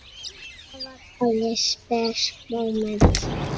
Þetta var alveg spes móment.